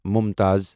ممتاز